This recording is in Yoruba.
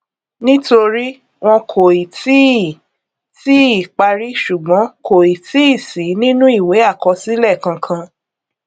nítorí wón kò ì tíì ì tíì parí ṣùgbón kò ì tíì sí nínú ìwé àkọsílẹ kankan